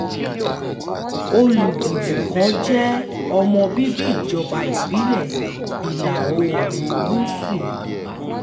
olùdìbò kan jẹ́ ọmọ bíbí ìjọba ìbílẹ̀ ìlà-oòrùn gúúsù ìbàdàn